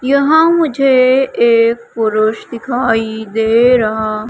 यहां मुझे एक पुरुष दिखाई दे रहा--